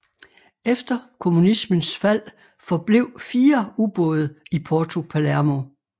Efter kommunismens fald forblev fire ubåde i Porto Palermo